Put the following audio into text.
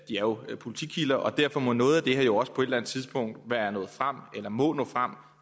jo er politikilder og derfor må noget af det her også på et eller andet tidspunkt være nået frem eller må nå frem